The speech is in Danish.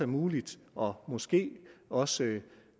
muligt og måske også